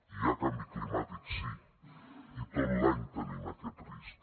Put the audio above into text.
hi ha canvi climàtic sí i tot l’any tenim aquest risc